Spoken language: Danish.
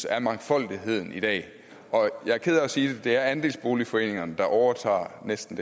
af mangfoldigheden i dag og jeg er ked af at sige det men det er andelsboligforeningerne der overtager næsten